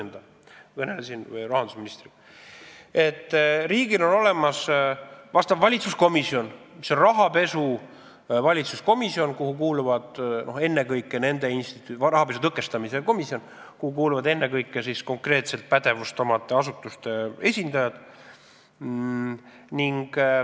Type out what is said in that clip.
" Ma kõnelesin rahandusministriga ja võin öelda, et riigil on olemas rahapesu tõkestamise valitsuskomisjon, kuhu kuuluvad ennekõike konkreetse pädevusega asutuste esindajad.